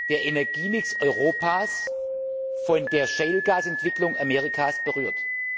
der Energiemix Europas von der Shale Gas Entwicklung Amerikas berührt.